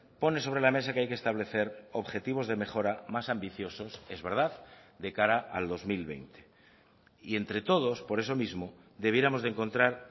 pone sobre la mesa que hay que establecer objetivos de mejora más ambiciosos es verdad de cara al dos mil veinte y entre todos por eso mismo debiéramos de encontrar